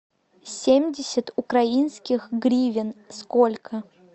семьдесят украинских гривен сколько